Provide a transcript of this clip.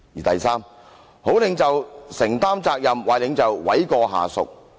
"第三，好領袖承擔責任，壞領袖諉過下屬。